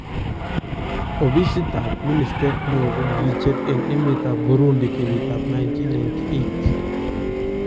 Obisiitab ministeet neon kokikicheer en emetab Burundi kenyit ab 1998